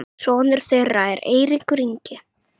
sonur þeirra er Eiríkur Ingi.